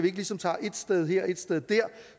ikke ligesom tager et sted her og et sted der